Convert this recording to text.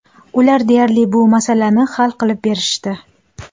Ular deyarli, bu masalani hal qilib berishdi.